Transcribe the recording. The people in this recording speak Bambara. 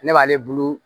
Ne b'ale bulu